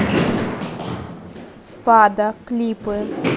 спада клипы